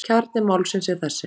Kjarni málsins er þessi.